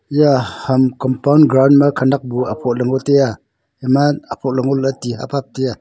eya ham compound ground khenak bu aphot ley ngo taiya ema aphoh ley ngo lah ley ti hap hap tiya.